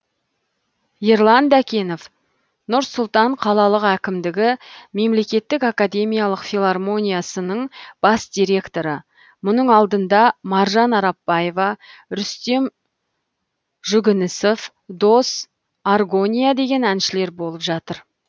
ерлан дәкенов нұр сұлтан қалалық әкімдігі мемлекеттік академиялық филармониясының бас директоры мұның алдында маржан арапбаева рүстем жүгінісов дос аргония деген әншілер болып жатыр